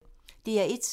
DR1